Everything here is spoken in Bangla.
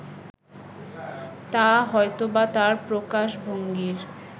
তা হয়তোবা তাঁর প্রকাশভঙ্গির